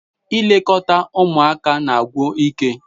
Ilekọta ụmụaka na-agwụ ike